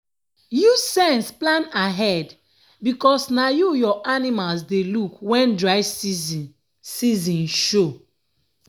use sense plan ahead because na you your animals dey look wen dry season season show.